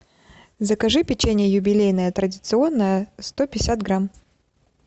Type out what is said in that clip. закажи печенье юбилейное традиционное сто пятьдесят грамм